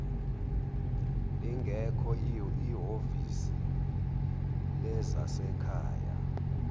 lingekho ihhovisi lezasekhaya